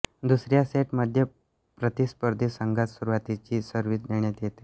दुसऱ्या सेट मध्ये प्रतिस्पर्धी संघास सुरुवातीची सर्विस देण्यात येते